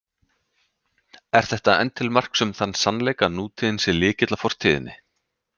Er þetta enn til marks um þann sannleik, að nútíðin sé lykill að fortíðinni.